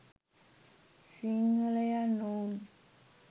සිංහලයන් ඔවුන්